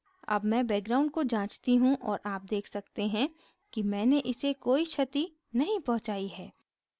अब मैं background को जाँचती हूँ और आप check सकते हैं कि मैंने इसे कोई क्षति नहीं पहुंचाई है